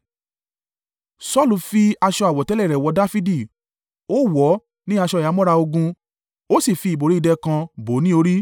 Saulu fi aṣọ àwọ̀tẹ́lẹ̀ rẹ̀ wọ Dafidi, ó wọ̀ ọ́ ní aṣọ ìhámọ́ra ogun, ó sì fi ìbòrí idẹ kan bò ó ní orí.